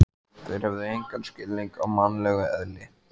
Þeir hefðu engan skilning á mannlegu eðli.